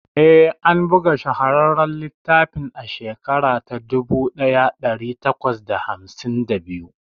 Eh, an buga shahararren littafin a shekara ta dubu daya dari takwas da hamsin da biyu